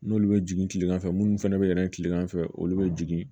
N'olu bɛ jigin kilegan fɛ minnu fɛnɛ bɛ yɛlɛn kilegan fɛ olu bɛ jigin